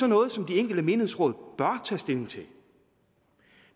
noget som de enkelte menighedsråd bør tage stilling til